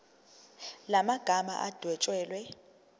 la magama adwetshelwe